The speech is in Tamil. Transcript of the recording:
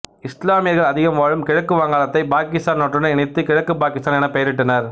இசுலாமியர்கள் அதிகம் வாழும் கிழக்கு வங்காளத்தைப் பாகிஸ்தான் நாட்டுடன் இணைத்து கிழக்கு பாகிஸ்தான் எனப்பெயரிட்டனர்